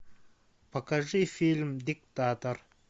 покажи фильм диктатор